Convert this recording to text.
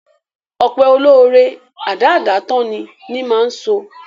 Ọpẹ́ olóóre, adáádátán ni, ni máa sọ.